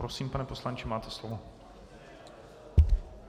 Prosím, pane poslanče, máte slovo.